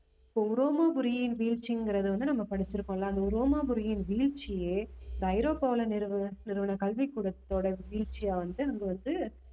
இப்ப ரோமபுரியின் வீழ்ச்சிங்கறத வந்து நம்ம படிச்சிருக்கோம்ல அந்த ரோமாபுரியின் வீழ்ச்சியே இப்ப ஐரோப்பாவுல நிறுவ~ நிறுவன கல்விக்கூடத்தோட வீழ்ச்சியா வந்து நம்ம வந்து